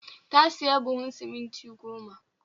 Ta sayi buhun siminti goma